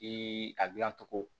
I a gilan cogo